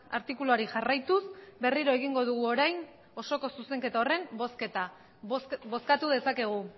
artikuluari jarraituz berriro egingo dugu orain osoko zuzenketa horren bozketa bozkatu dezakegu